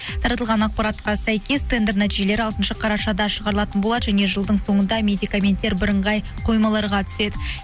таратылған ақпаратқа сәйкес тендер нәтижелері алтыншы қарашада шығарылатын болады және жылдың соңында медикаменттер бірыңғай қоймаларға түседі